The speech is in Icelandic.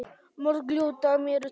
Mörg ljót dæmi eru til.